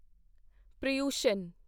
Paryushan